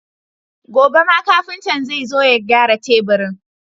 Gobe ma kafinta zai zo ya gyara teburin.